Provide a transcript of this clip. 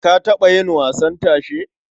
Ka taɓa yin wasan tashe?